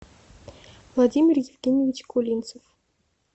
владимир евгеньевич кулинцев